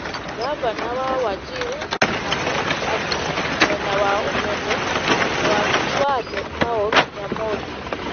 Ngavana wa Wajir Mohamud Abdi (mwena wa ũmotho) na wakiri wake Paul Nyamodi ,